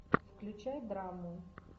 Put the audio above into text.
включай драму